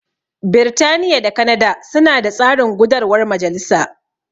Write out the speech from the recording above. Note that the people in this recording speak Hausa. Birtaniya da Kanada suna da tsarin gudarwar majalisa.